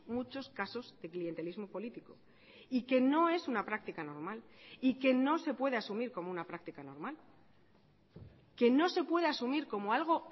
muchos casos de clientelismo político y que no es una práctica normal y que no se puede asumir como una práctica normal que no se puede asumir como algo